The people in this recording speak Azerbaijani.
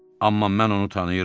Amma mən onu tanıyıram.